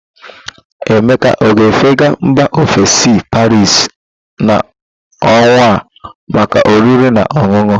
Emeka ọ ga-efega mba ofesi Paris na ọnwa a maka oriri na ọṅụṅụ?